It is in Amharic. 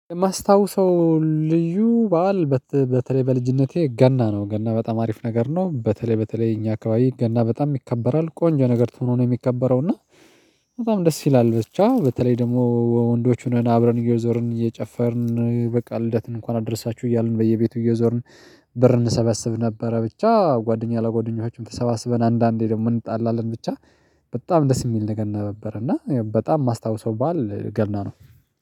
የማስታውሰው ልዩ በዓል በተለይ በልጅነቴ ገና ነው ገና በጣም አሪፍ ነገር ነው በተለይ በተለይ እኛ አካባቢ ገና በጣም ይከበራል ቆንጆ ነገር ሁኖ ነው የሚከበረው እና በጣም ደስ ይላል። ብቻ በተለይ ደግሞ ወንዶቹን አብረን እየዞርን እየጨፈርን በቃ ልደትን እንኳን አድርሳችሁ እያልን በየቤቱ እየዞርን ብር እንሰበስብ ነበረ። ብቻ ጓደኛ ለጓደኞቻችን ተሰባስበን አንዳንዴ ደግሞ እንጣላለን ብቻ በጣም ደስ የሚል ነገር ነገረ ነበረ። እና በጣም የማስታውሰው ባዓል ገና ነው